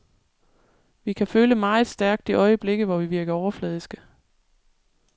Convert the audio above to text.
Vi kan føle meget stærkt i øjeblikke, hvor vi virker overfladiske.